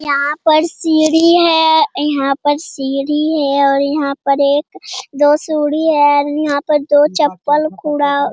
यहाँ पर सीढ़ी है यहाँ पर सीढ़ी है और यहाँ पर एक दो हैं यहाँ पर दो चप्पल खुला --